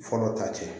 Fɔlɔ ta cɛ